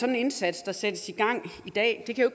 den indsats der sættes i gang i dag jo